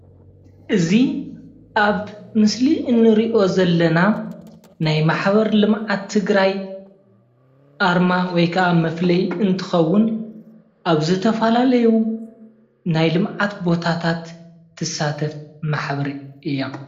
እዚ ኣብ ምስሊ እንሪኦ ዘለና ናይ ማሕበር ልምዓት ትግራይ ኣርማ ወይ ክዓ መፍለይ እንትከውን ኣብ ዝተፈላለዩ ናይ ልምዓት ቦታት እትሳተፍ ማሕበር እያ፡፡